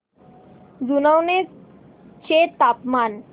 जुनवणे चे तापमान